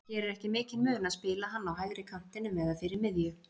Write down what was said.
Það gerir ekki mikinn mun að spila hann á hægri kantinum eða fyrir miðju.